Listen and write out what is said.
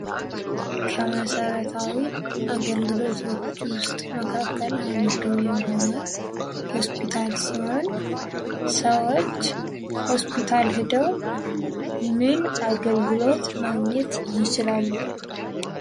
ከመሰራታዊ አገልግሎቶች ውስጥ እንዱ የሆነው ሆስፒታል ሲሆን ሰዎች ሆስፒታል ሂደው ምን አገልግሎት ማግኘት ይችላሉ?